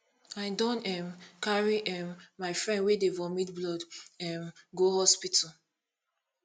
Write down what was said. i don um carry um my friend wey dey vomit blood um go hospital